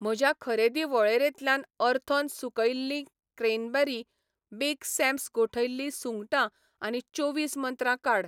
म्हज्या खरेदी वळेरेंतल्यान अर्थोन सुकयल्लीं क्रॅनबेरी, बिग सॅम्स गोठयल्ली सुंगटां आनी चोवीस मंत्रा काड.